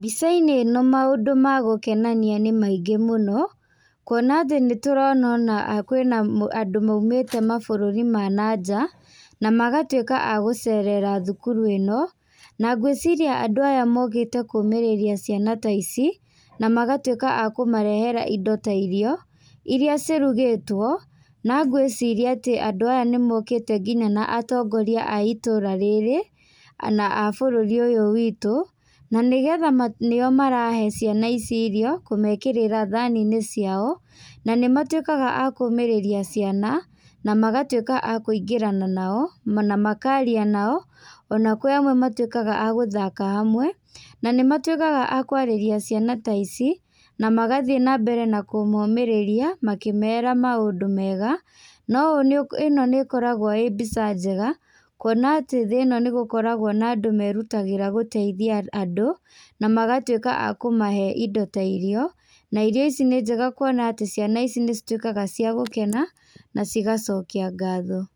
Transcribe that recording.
Mbica-inĩ ĩno maũndũ ma gũkenania nĩ maingĩ mũno, kuona atĩ nĩ tũrona ona kwĩ na andũ maumĩte mabũrũri ma na nja, na magatuĩka a gũcerera thukuru ĩno, na ngwĩciria andũ aya mokĩte kũmĩrĩria ciana ta ici, na magatuĩka a kũmarehera indo ta irio, iria cirugĩtwo, na ngwĩciria atĩ andũ aya nĩ mokĩte nginya na atongoria a itũũra rĩrĩ na a bũrũri ũyũ witũ, na nĩgetha nĩo marahe ciana ici irio, kũmekĩrĩra thani-inĩ ciao, na nĩ matuĩkaga a kũmĩrĩria ciana na magatuĩka a kũingĩrana nao na makaria nao, ona kwĩ amwe matuĩkaga a gũthaka hamwe, na nĩ matuĩkaga a kwarĩria ciana ta ici na magathiĩ na mbere na kũmomĩrĩrria, makĩmera maũndũ mega, na ũũ, ĩno nĩ ĩkoragwo ĩ mbica njega kũona atĩ thĩ ĩno nĩ gũkoragwo na andũ merutagĩra gũteithia andũ, magatuĩka a kũmahe indo ta irio, na irio ici nĩ njega kũona atĩ ciana ici nĩ cituĩkaga ciagũkena na cigacokia ngatho.